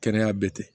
Kɛnɛya bɛɛ tɛ